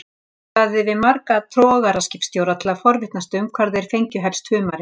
Ég talaði við marga togaraskipstjóra til að forvitnast um hvar þeir fengju helst humarinn.